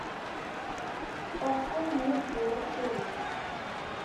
парфюм мисс диор шери